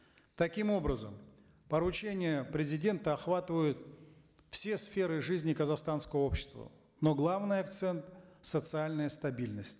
таким образом поручения президента охватывают все сферы жизни казахстанского общества но главный акцент социальная стабильность